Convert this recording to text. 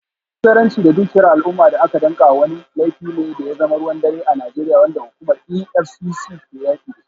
Almubazzaranci da dukiyar al’umma da aka danka wa wani, laifi ne da ya zama ruwan dare a Najeriya, wanda hukumar EFCC ke yaki da shi.